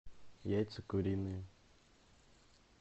яйца куриные